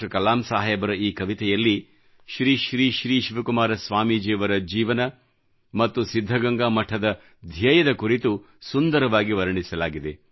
ಕಲಾಂ ಸಾಹೇಬರ ಈ ಕವಿತೆಯಲ್ಲಿ ಶ್ರೀ ಶ್ರೀ ಶ್ರೀ ಶಿವಕುಮಾರ ಸ್ವಾಮೀಜಿಯವರ ಜೀವನ ಮತ್ತು ಸಿದ್ಧಗಂಗಾ ಮಠದ ಧ್ಯೇಯದ ಕುರಿತು ಸುಂದರವಾಗಿ ವರ್ಣಿಸಲಾಗಿದೆ